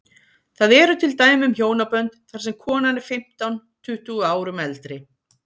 Það eru til dæmi um hjónabönd þar sem konan er fimmtán, tuttugu árum eldri.